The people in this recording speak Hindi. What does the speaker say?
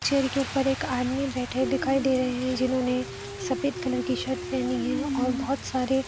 चेयर के ऊपर एक आदमी बैठे दिखाई दे रहे है जिन्होंने सफ़ेद कलर की शर्ट पेहनी है और बहुत सारे --